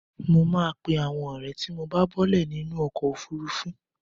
Mo máa pe àwọn ọ̀rẹ́ tí mo bá bọ́ọ́lẹ̀ nínú ọkọ̀ òfurufú.